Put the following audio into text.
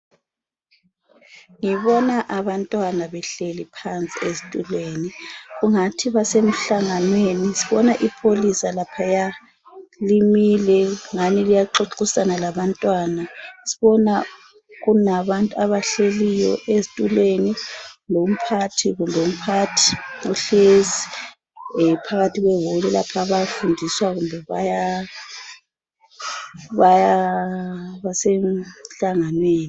ngibona abantwana behleliphansi ezitulweni kungathi basemhlnganweni sibona ipholisa laphaya limile ngani liyaxoxisaa labantwana sibona kulabantu abahleliyo ezitulweni lomphathi uhlezi phakathi kwe hall lapha mhlawumbe basemhlanganweni